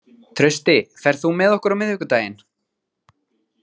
Trausti, ferð þú með okkur á miðvikudaginn?